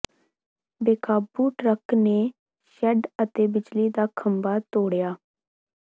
ਬੇਕਾਬੂ truck ਨੇ shed ਅਤੇ ਬਿਜਲੀ ਦਾ ਖੰਭਾ ਤੋੜਿਆ